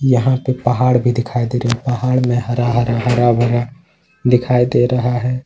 यहां पे पहाड़ भी दिखाई दे रहे है पहाड़ में हरा हरा हरा भरा दिखाई दे रहा है।